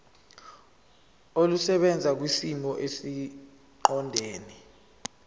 olusebenza kwisimo esiqondena